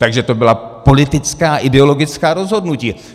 Takže to byla politická, ideologická rozhodnutí.